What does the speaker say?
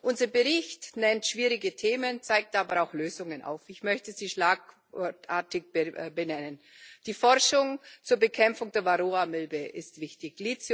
Unser Bericht nennt schwierige Themen, zeigt aber auch Lösungen auf. Ich möchte sie schlagwortartig benennen Die Forschung zur Bekämpfung der Varroamilbe ist wichtig.